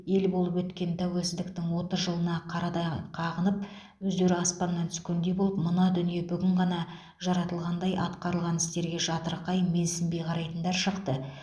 ел болып өткен тәуелсіздіктің отыз жылына қарадай қағынып өздері аспаннан түскендей болып мына дүние бүгін ғана жаратылығандай атқарылған істерге жатырқай менсінбей қарайтындар шықты